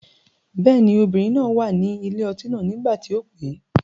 Bẹ́ẹ̀ ni, obìnrin náà wà ní ilé ọtí náà nígbà tí o pè.